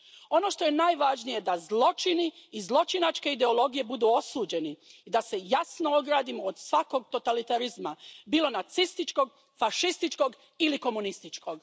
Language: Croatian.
Ono što je najvažnije je da zločini i zločinačke ideologije budu osuđeni i da se jasno ogradimo od svakog totalitarizma, bilo nacističkog, fašističkog ili komunističkog.